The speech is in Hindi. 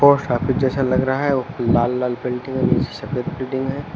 पोस्ट ऑफिस जैसा लग रहा है और लाल लाल बिल्डिंग और सफेद बिल्डिंग है।